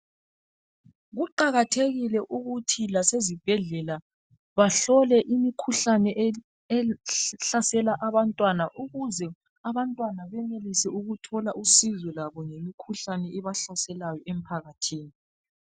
Kuqakathekile ukuthi lasezibhedlela bahlole imikhuhlane ehlasela abantwana ukuze abantwana benelise ukuthola usizo labo ngemikhuhlane ebahlaselayo emphakathini.